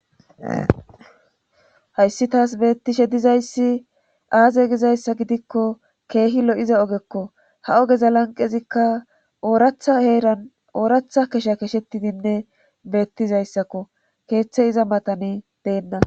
hayssi taas beettishe dizayssi aaze gizayssa gidikko keehi lo7iza ogekko ha ogeza lanqezikka oratha heeran ooratha kesha keshettidinne beettizayssakko keeththe iza matani deenna